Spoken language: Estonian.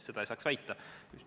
Seda ei saa väita.